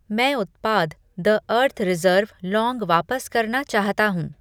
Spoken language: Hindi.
मैं उत्पाद द अर्थ रिज़र्व लौंग वापस करना चाहता हूँ।